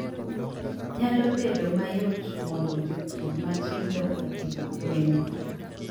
Nyalo bedo mayot mondo jopur matindo opidh gwen.